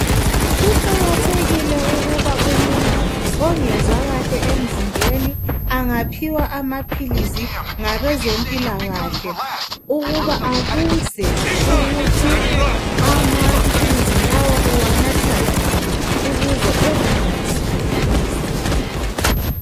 Kuqakathkile ukuba umuntu ongezwa kahle emzimbeni angaphiwa amaphilisi ngabezempilakahle ukuba abuze ukuthi amaphilisi lawo uwanatha njani ukuze enganathi adlulise.